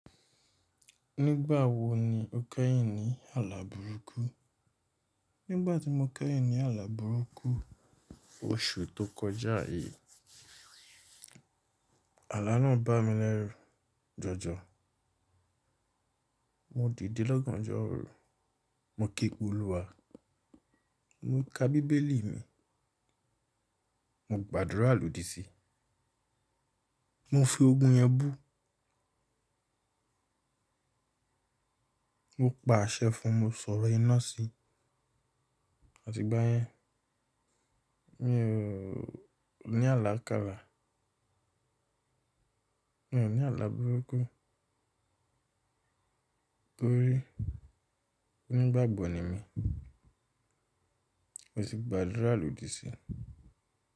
Nígbà wo ni o kẹ́yìn ní àlá burúkú? Nígbà tí mo kẹ́yìn ní àlá burúkú, oṣù tó kọjá yìí. Àlá náà bá mi lẹ́rù jọjọ. Mo dìde lọ́gánjọ́ oru, mo ké pe ólúwa, mo ka bíbélì mi, mo gbàdúrà lòdì sí i, mo fi ogún yẹn bú. Mo pa àṣẹ fún mu sọ̀rọ̀ iná sí i. A ti igbáyẹn. Mi ò ní àlá kalà. Mi ò ní àlá burúkú. Torí onígbàgbọ̀ ni mí, mo sì gbàdúrà lòdì sí i.